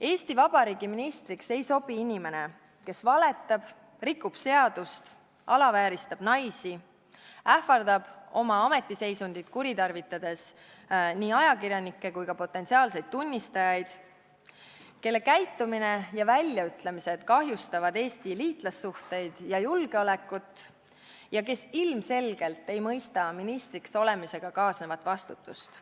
Eesti Vabariigi ministriks ei sobi inimene, kes valetab, rikub seadust, alavääristab naisi, ähvardab oma ametiseisundit kuritarvitades nii ajakirjanikke kui ka potentsiaalseid tunnistajaid, kelle käitumine ja väljaütlemised kahjustavad Eesti liitlassuhteid ja julgeolekut ning kes ilmselgelt ei mõista ministriks olemisega kaasnevat vastutust.